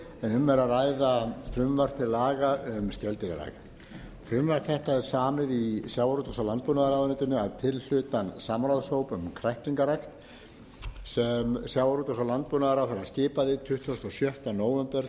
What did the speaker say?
um er að ræða frumvarp til laga um skeldýrarækt frumvarp þetta er samið í sjávarútvegs og landbúnaðarráðuneytinu að tilhlutan samráðshóps um kræklingarækt sem sjávarútvegs og landbúnaðarráðherra skipaði tuttugasta og sjötta nóvember